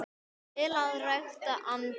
til að rækta andann